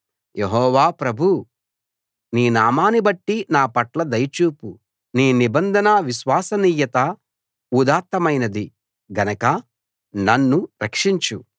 యెహోవా ప్రభూ నీ నామాన్నిబట్టి నా పట్ల దయ చూపు నీ నిబంధన విశ్వసనీయత ఉదాత్తమైనది గనక నన్ను రక్షించు